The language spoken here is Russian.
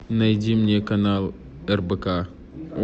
найди мне канал рбк